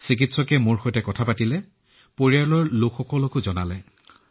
চিকিৎসকে মোৰ সৈতে আমাৰ পৰিয়ালৰ সৈতেও এই বিষয়ে কথা পাতিছিল